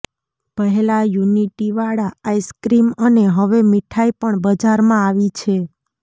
પહેલા યુનિટીવાળા આઇસ્ક્રીમ અને હવે મીઠાઈ પણ બજારમાં આવી છે